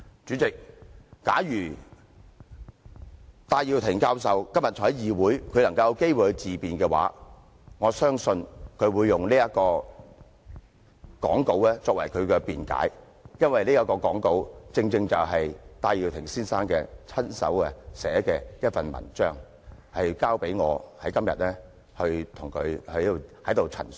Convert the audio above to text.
主席，假如戴耀廷教授今天在議會內有機會自辯，我相信他會用這份演辭作為他的辯解，因為這份演辭正正是戴耀廷先生的親筆文章，交由我在今天代他陳述。